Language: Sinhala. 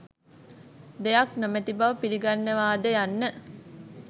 දෙයක් නොමැති බව පිලිගන්නවාද යන්න.